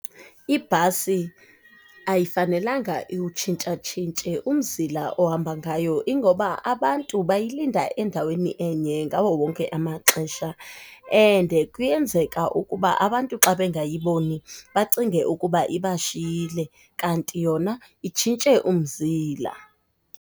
Ibhasi ayifanelanga iwutshintsha-tshintshe umzile ohamba ngayo ingoba abantu bayilinda endaweni enye ngawo wonke amaxesha and kuyenzeka ukuba abantu xa bengayiboni bacinge ukuba ibashiyile kanti yona itshintshe umzila.